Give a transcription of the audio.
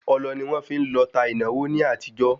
Ọlọ ni wọ́n fi ń lọta ìnáwó ní àtijọ́